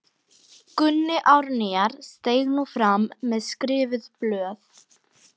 Gunni Árnýjar steig nú fram með skrifuð blöð.